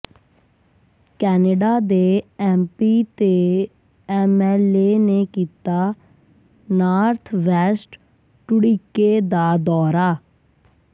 Canada ਦੇ MP ਤੇ MLA ਨੇ ਕੀਤਾ ਨਾਰਥ ਵੈਸਟ ਢੁੱਡੀਕੇ ਦਾ ਦੌਰਾ